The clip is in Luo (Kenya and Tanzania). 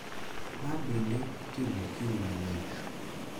Mabende itimo okinyi mang`ich,